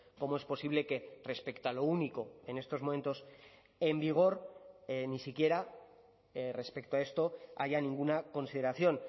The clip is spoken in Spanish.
cómo es posible que respecto a lo único en estos momentos en vigor ni siquiera respecto a esto haya ninguna consideración